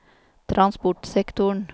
transportsektoren